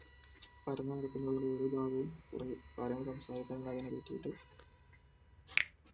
ഓരോരോ ഭാഗവും കുറെ കാര്യങ്ങൾ സംസാരിക്കാൻ ഒരുക്കിയിട്ട്